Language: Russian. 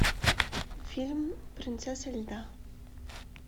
фильм принцесса льда